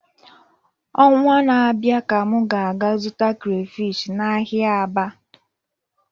Ọnwa na-abịa ka m ga-aga zụta crayfish n'ahịa Aba